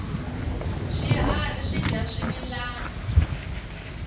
swiharhi swidya swimilana